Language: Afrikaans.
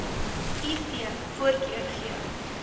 iv voorkeur gee